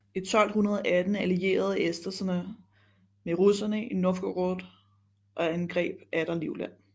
I 1218 allierede esterne sig med russerne i Novgorod og angreb atter Livland